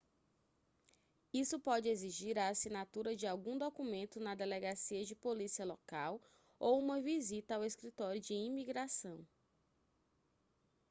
isso pode exigir a assinatura de algum documento na delegacia de polícia local ou uma visita ao escritório de imigração